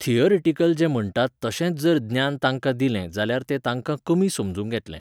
Theoretical जें म्हणटात तशेंच जर ज्ञान तांकां दिलें जाल्यार तें तांकां कमी समजूंक येतलें.